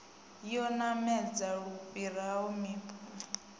yo namedza lu fhiraho mpimo